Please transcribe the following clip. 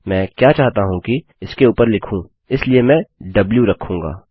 मैं क्या चाहता हूँ कि इसके ऊपर लिखूँ इसलिए मैं द्व रखूँगा